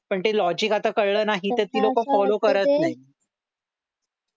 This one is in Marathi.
पण ते लॉजिक आता कळलं नाही तर ती लोकं फॉलो करत नाहीत